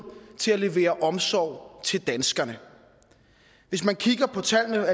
til at levere omsorg til danskerne og hvis man kigger på tallene